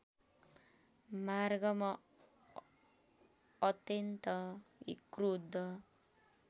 मार्गमा अत्यन्त क्रुद्ध